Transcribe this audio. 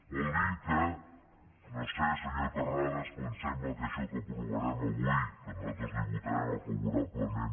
vol dir que no ho sé senyor terrades però em sembla que això que aprovarem avui que nosaltres li votarem favorablement